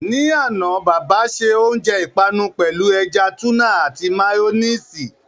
Ní àná, bàbà se oúnjẹ ìpanu pẹ̀lú ẹja túnà àti méyọ́néèsì.